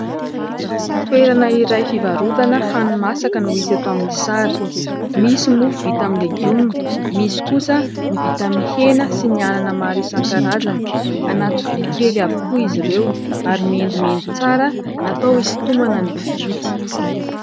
Toerana iray fivarotana hani-masaka no hita eto amin'ny sary. Misy mofo vita amin'ny legioma, misy kosa ny vita amin'ny hena sy ny anana maro isan-karazany. Anaty vilia kely avokoa izy ireo ary mendimendy tsara natao hisintomana ny mpividy.